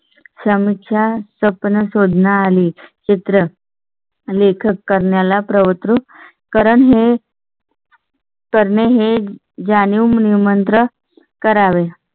समस्या सपना शोधना आली चित्र. लेखक करण्या ला प्रवृत्त करणे हे. करणे हे जाणून निमंत्रण करावे.